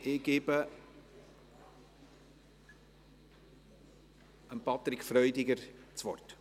Ich übergebe Patrick Freudiger das Wort.